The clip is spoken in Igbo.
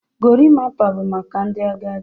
Gorimpa bụ maka ndị agadi.